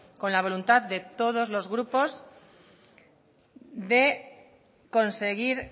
con la voluntad de todos los grupos de conseguir